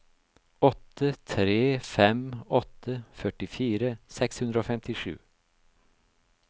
åtte tre fem åtte førtifire seks hundre og femtisju